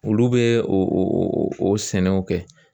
Olu bɛ o sɛnɛw kɛ